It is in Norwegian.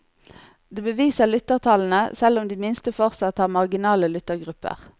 Det beviser lyttertallene, selv om de minste fortsatt har marginale lyttegrupper.